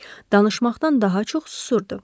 Danışmaqdan daha çox susurdu.